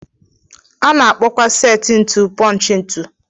Ana akpọkwa set ntu punch ntu.